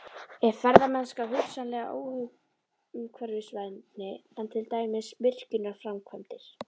Er ferðamennska hugsanlega óumhverfisvænni en til dæmis virkjunarframkvæmdir?